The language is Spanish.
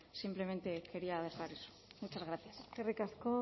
simplemente quería dejar eso muchas gracias eskerrik asko